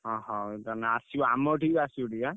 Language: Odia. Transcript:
ଅହ! ତାହେଲେ ଆସିବ ଆମ ଏଠିକି ଆସିବ ଟିକେ।